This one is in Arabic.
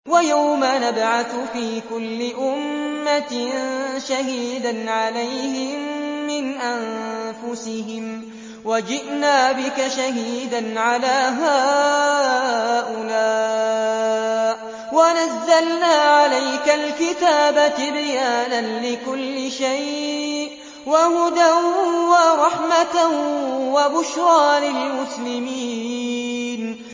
وَيَوْمَ نَبْعَثُ فِي كُلِّ أُمَّةٍ شَهِيدًا عَلَيْهِم مِّنْ أَنفُسِهِمْ ۖ وَجِئْنَا بِكَ شَهِيدًا عَلَىٰ هَٰؤُلَاءِ ۚ وَنَزَّلْنَا عَلَيْكَ الْكِتَابَ تِبْيَانًا لِّكُلِّ شَيْءٍ وَهُدًى وَرَحْمَةً وَبُشْرَىٰ لِلْمُسْلِمِينَ